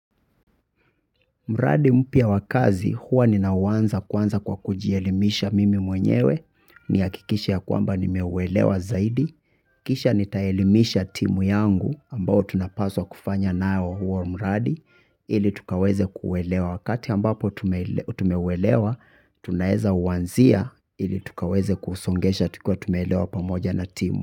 Mradi mpya wa kazi, huwa ninauanza kwanza kwa kujielimisha mimi mwenyewe, nihakikishe ya kwamba nimeuelewa zaidi. Kisha nitaelimisha timu yangu ambao tunapaswa kufanya nao huo mradi, ili tukaweze kuelewa wakati ambapo tumeuelewa, tunaweza uanzia ili tukaweze kusongesha tukiwa tumeelewa pamoja na timu.